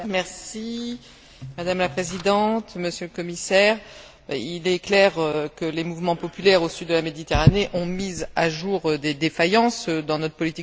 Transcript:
Madame la Présidente, Monsieur le Commissaire, il est clair que les mouvements populaires au Sud de la Méditerranée ont mis au jour des défaillances dans notre politique européenne de voisinage.